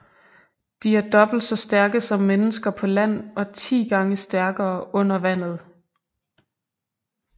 De er dobbelt så stærke som mennesker på land og ti gange stærkere under vandet